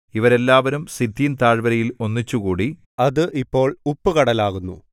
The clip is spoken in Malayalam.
ഇവരെല്ലാവരും സിദ്ദീം താഴ്വരയിൽ ഒന്നിച്ചുകൂടി അത് ഇപ്പോൾ ഉപ്പുകടലാകുന്നു